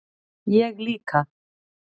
Ég líka